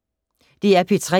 DR P3